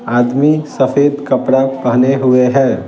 आदमी सफेद कपड़े पहने हुए हैं ।